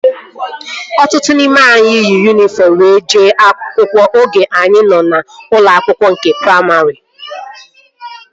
Ọtụtụ n'ime anyị yi yunifọm were jee akwụkwọ oge anyị nọ n'ụlọ akwụkwọ nke praimarị